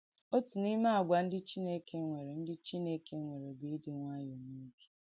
Òtù n’ìme àgwà ndí Chìnèkè nwèrè ndí Chìnèkè nwèrè bù ìdí nwàyọ̀ n’òbì.